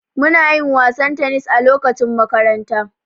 Muna yin wasan tennis a lokacin makaranta.